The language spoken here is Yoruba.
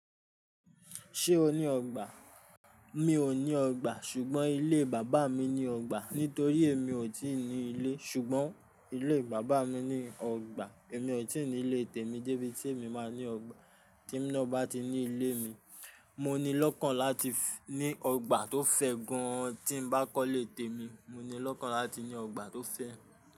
Ṣé o ní ọgbà? Mi ò ní ọgbà, ṣùgbọ́n ilé bàbá mi ní ọgbà. Nítorí èmi ò tíì ní ilé, ṣùgbọ́n ilé bàbá mi ní ọgbà. Èmi ò tíì ní ilé tèmi débi tí èmi máa ní ọgbà. Tí mo bá ti ní ilé mi, mo ní lọ́kàn láti ní ọgbà tó fẹ́ gan. Tí mo bá kọ́ ilé tèmi, mo ní lọ́kàn láti ní ọgbà tó fẹ́.